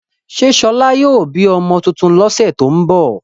Ṣé Ṣọlá yóò bí ọmọ tuntun lọ́sẹ̀ tó ń bọ̀?